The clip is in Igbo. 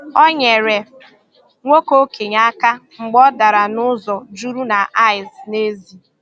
Ọ nyerè nwoke okenye aka mgbe ọ darà n’ụzọ jụrụ na ìce n’èzí.